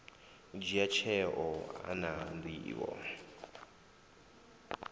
dzhia tsheo a na nḓivho